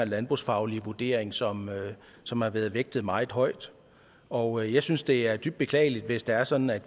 landbrugsfaglige vurdering som som har været vægtet meget højt og jeg synes det er dybt beklageligt hvis det er sådan at